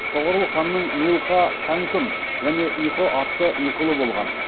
тоғорыл ханның нилқа сәңкүм және ұйқы атты екі ұлы болған